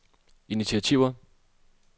initiativer